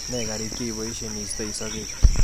Ne kariik che iboisie iistoi sokek?